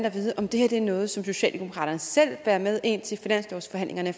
at vide om det her er noget som socialdemokraterne selv bærer med ind til finanslovsforhandlingerne